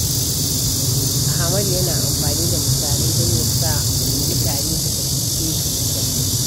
Ahmadu yana amfani da misalai don ya sa mutane su fahimce shi da kyau.